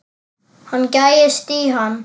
Hann gægist í hann.